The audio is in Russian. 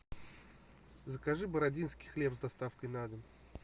закажи бородинский хлеб с доставкой на дом